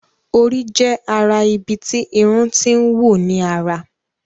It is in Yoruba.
Orí jé ará ibí tí Irun t'in wù ní àrà.